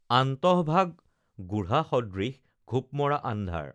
আন্তঃ ভাগ গুঢ়া সদৃশ ঘোপমৰা আন্ধাৰ